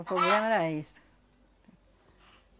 O poblema era isso. Tá.